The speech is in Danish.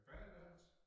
Badeværelse